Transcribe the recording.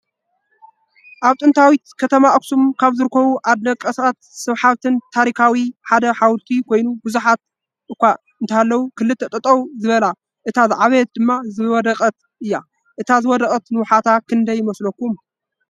አብ ጥንታዊት ከተማ አክሱም ካብ ዝርከቡ አደነቅትን ስሓብትን ታሪካ ሓደ ሓወልቲ ኮይኑ ብዝሓት አኻ እንተሃለው ክልተ ጠጠው ዝበላ እታ ዝዓበየት ድማ ዝወደቀት እያ ።አታ ዝወደቀት ንውሓታ ክንደይ ይመስለኩም?